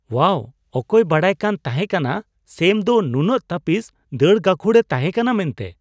ᱳᱣᱟᱦ! ᱚᱠᱚᱭ ᱵᱟᱰᱟᱭᱠᱟᱱ ᱛᱟᱦᱮᱸᱠᱟᱱᱟ ᱥᱮᱢ ᱫᱚ ᱱᱩᱱᱟᱹᱜ ᱛᱟᱹᱯᱤᱫ ᱫᱟᱹᱲ ᱜᱟᱹᱠᱷᱩᱲᱼᱮ ᱛᱟᱦᱮᱸᱠᱟᱱᱟ ᱢᱮᱱᱛᱮ ?